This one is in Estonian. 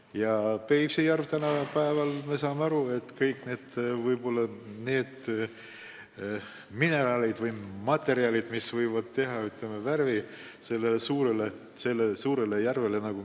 Ja me saame tänapäeval aru, kust tulevad kõik need ained, mis annavad värvi sellele suurele järvele.